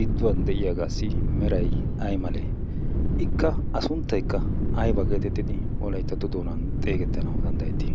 gidduwan de7iyaagaassi merai ai male? ikka a sunttaikka aiba geetettidi wolaittatto doonan xeegettanawu danddayettii?